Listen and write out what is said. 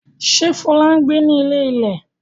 Ṣé Fọlá ń gbé ní ilé-ilẹ̀?